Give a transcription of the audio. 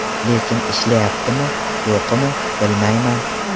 Lekin ishlayaptimi, yo‘qmi, bilmayman.